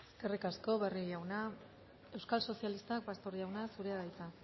eskerrik asko barrio jauna euskal sozialistak pastor jauna zurea da hitza